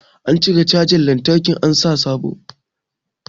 An cire cajan lantraki an sa sabo